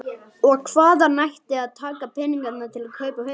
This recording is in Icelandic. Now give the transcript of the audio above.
Og hvaðan ætti að taka peninga til að kaupa hund?